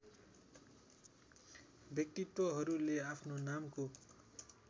व्यक्तित्वहरूले आफ्नो नामको